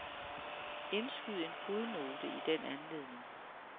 Indskyd en fodnote i den anledning.